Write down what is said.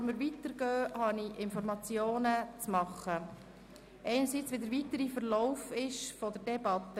Bevor wir weiterfahren, habe ich Ihnen Informationen weiterzugeben, unter anderem über den weiteren Verlauf der Debatte.